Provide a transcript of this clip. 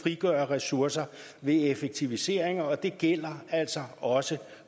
frigøre ressourcer ved effektiviseringer og det gælder altså også